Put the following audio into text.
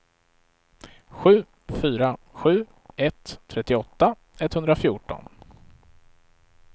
sju fyra sju ett trettioåtta etthundrafjorton